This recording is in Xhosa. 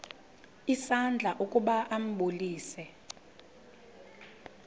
isandla ukuba ambulise